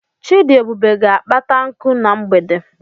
Chidiebube ga-akpata nkụ na mgbede.